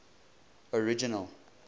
original